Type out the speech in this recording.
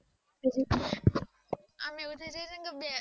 અમ એવું થાય જાય ને બે